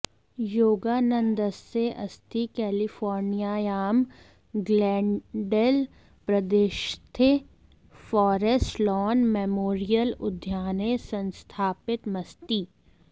योगानन्दस्य अस्थि केलिफोर्नियायां ग्लेन्डेल्प्रदेशस्थे फारेस्ट् लान् मेमोरियल् उद्याने संस्थापितमस्ति